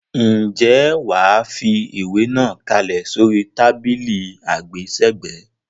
Ǹjẹ́ wà á fi ìwé náà kalẹ̀ sórí tábìlì àgbésẹ̀gbẹ́.